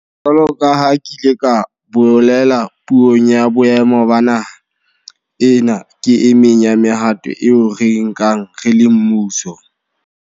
Jwalo ka ha ke ile ka bolela Puong ya Boemo ba Naha, ena ke e meng ya mehato eo re e nkang re le mmuso.